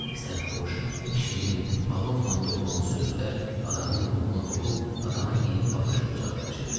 Sərxoş, şirin, alovla dolu olan sözlər adamın ruhunu hopub adama yeni baxış bucağı bəxş edirdi.